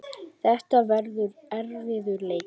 Þetta verður erfiður leikur.